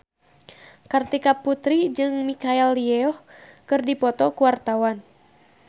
Kartika Putri jeung Michelle Yeoh keur dipoto ku wartawan